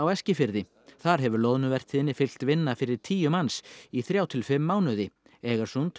Eskifirði þar hefur loðnuvertíðinni fylgt vinna fyrir tíu manns í þrjá til fimm mánuði